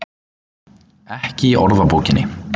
Ekki í orðabókinni.